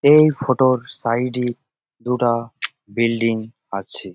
এই ফটো -র সাইড -এ দুটা বিল্ডিং আছে।